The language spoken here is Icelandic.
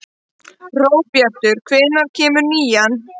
Hróbjartur, hvenær kemur nían?